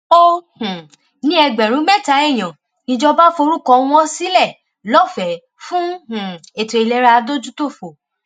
ó um ní ẹgbẹrún mẹta èèyàn níjọba forúkọ wọn sílẹ lọfẹẹ fún um ètò ìlera adójútòfò